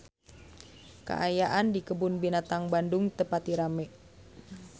Kaayaan di Kebun Binatang Bandung teu pati rame